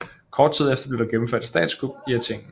Kort tid efter blev der gennemført et statskup i Athen